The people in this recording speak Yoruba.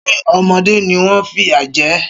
Ṣé ọmọdé ni wọ́n ń fìyà jẹ ẹ́?